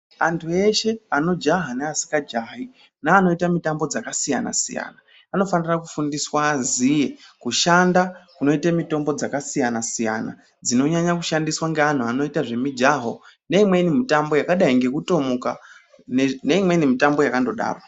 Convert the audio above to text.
Antu eshe anojaha neasinga jahi, neanoita mitambo dzakasiyana siyana anofanira kuite mitambo dzakasiyana siyana anofanira kufundiswa aziye kushanda kunoite mitombo dzakasiyana siyana dzinonyanya kushandiswa ngeanhu anoita zvemijaho, ngeimweni mitambo yakadai nekutomuka ngeimweni mitambo yakangodaro.